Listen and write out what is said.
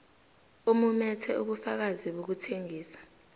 omumethe ubufakazi bokuthengisa